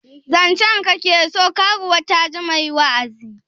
Zancen ka ke so? karuwa ta ji mai wa'azi